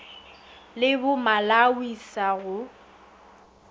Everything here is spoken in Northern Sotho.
le bo malawi sa go